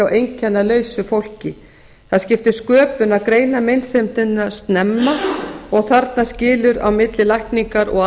einkennalausu fólki það skiptir sköpum að greina meinsemdina snemma og þarna skilur á milli lækningar og